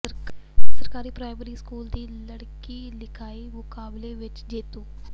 ਸਰਕਾਰੀ primary school ਦੀ ਲੜਕੀ ਲਿਖਾਈ ਮੁਕਾਬਲੇ ਵਿੱਚ ਜੇਤੂ